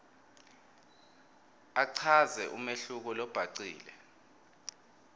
achaze umehluko lobhacile